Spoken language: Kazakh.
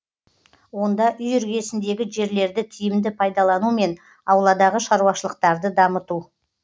онда үй іргесіндегі жерлерді тиімді пайдалану мен ауладағы шаруашылықтарды дамыту